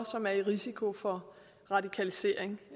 som er i risiko for radikalisering